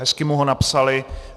Hezky mu ho napsali.